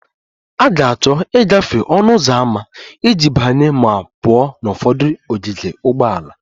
A ga-achọ ịgafe ọnụ ụzọ ámá iji banye ma pụọ na ụfọdụ ogige ụgbọala